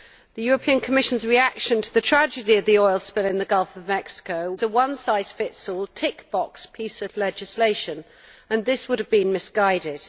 The Commission's reaction to the tragedy of the oil spill in the Gulf of Mexico was a one size fits all' tick box piece of legislation, and this would have been misguided.